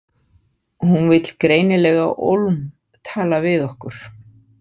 Hún vill greinilega ólm tala við okkur.